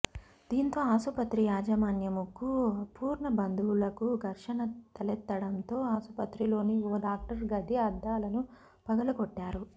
దీంతో ఆసుపత్రి యాజమాన్యముకు పూర్ణ బంధువులకు ఘర్షణ తలెత్తడంతో ఆసుపత్రిలోని ఓ డాక్టర్ గది అద్దాలను పగులకోట్టారు